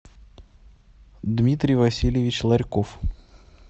дмитрий васильевич ларьков